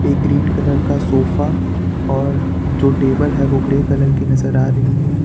Green colour का sofa और जो टेबल है वो ग्रे कलर की नजर आ रही है।